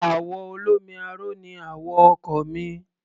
Àwọ̀ olómi aró ni àwọ̀ ọkọ̀ mi.